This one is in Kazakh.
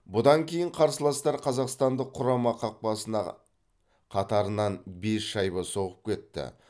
бұдан кейін қарсыластар қазақстандық құрама қақпасына қатарынан бес шайба соғып кетті